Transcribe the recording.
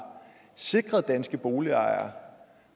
sikret danske boligejere